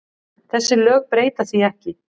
Þessi lög breyta því ekki.